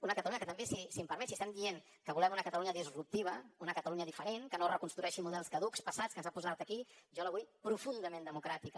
una catalunya que també si em permet si estem dient que volem una catalunya disruptiva una catalunya diferent que no reconstrueixi models caducs passats que ens han posat aquí jo la vull profundament democràtica